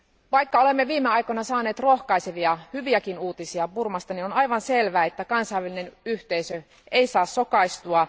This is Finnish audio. Vaikka olemme viime aikoina saaneet rohkaisevia, hyviäkin uutisia Burmasta, on aivan selvää, että kansainvälinen yhteisö ei saa sokaistua.